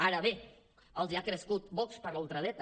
ara bé els ha crescut vox per la ultradreta